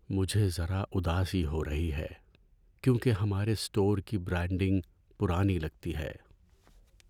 مجھے ذرا اداسی ہو رہی ہے کیونکہ ہمارے اسٹور کی برانڈنگ پرانی لگتی ہے۔